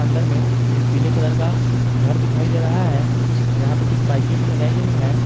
अंदर में एक पीले कलर का घर दिखाई दे रहा है और यहां पे कुछ बाइके भी लगाई गई है।